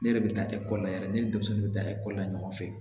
Ne yɛrɛ bɛ taa ekɔli la yɛrɛ ne ni denmisɛnninw bɛ taa ekɔli la ɲɔgɔn fɛ